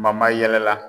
mayɛlɛma